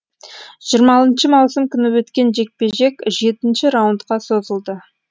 жиырма алтыншы маусым күні өткен жекпе жек жетінші раундқа созылды